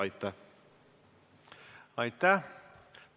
Aitäh!